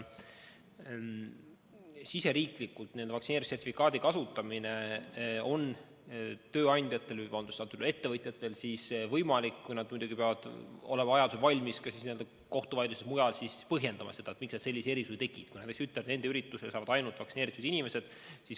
Riigisiseselt on vaktsiinisertifikaadi kasutamine ettevõtjatel võimalik, kuid nad peavad olema valmis võimalikes kohtuvaidlustes ja mujal põhjendama, miks nad sellise erisuse tegid, kui nad näiteks ütlesid, et nende üritusele saavad ainult vaktsineeritud inimesed.